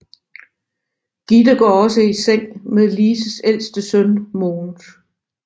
Gitte går også i seng med Lises ældste søn Mogens